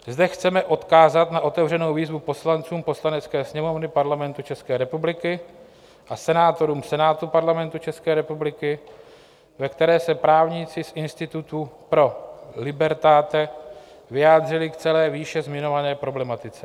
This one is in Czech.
Zde chceme odkázat na otevřenou výzvu poslancům Poslanecké sněmovny Parlamentu České republiky a senátorům Senátu Parlamentu České republiky, ve které se právníci z institutu Pro Libertate vyjádřili k celé výše zmiňované problematice.